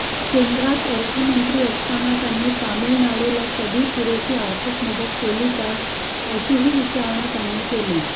केंद्रात अर्थमंत्री असताना त्यांनी तामिळनाडुला कधी पुरेशी आर्थिक मदत केली काय अशीही विचारणा त्यांनी केली